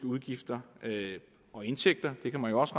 udgifter og indtægter det kan jo også